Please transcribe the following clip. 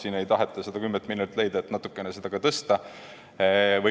Siin ei taheta seda 10 miljonit leida, et seda ka natukene tõsta.